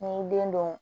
N'i y'i den don